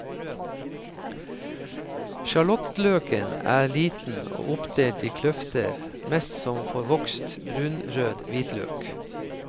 Sjalottløken er liten og oppdelt i kløfter mest som forvokst brunrød hvitløk.